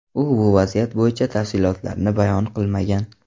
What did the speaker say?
U bu vaziyat bo‘yicha tafsilotlarni bayon qilmagan.